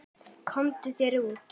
Komdu þér út.